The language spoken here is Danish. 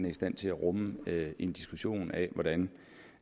i stand til at rumme en diskussion af hvordan